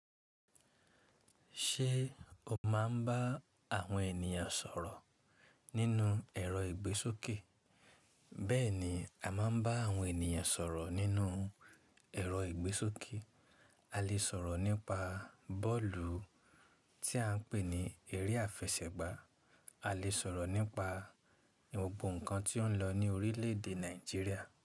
Ṣé o máa ń bá àwọn ènìyàn sọ̀rọ̀ nínú ẹ̀rọ ìgbésókè? Bẹ́ẹ̀ni, a máa ń bá àwọn ènìyàn sọ̀rọ̀ nínú ẹ̀rọ ìgbésókè. A lè sọ̀rọ̀ nípa bọ́ọ̀lù tí à ń pè ní eré àfẹsẹ̀gbá, a lè sọ̀rọ̀ nípa gbogbo nǹkan tí ó ń lọ ní orílẹ̀èdè Nàìjíríà.